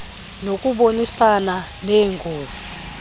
nokubonisana nee ngos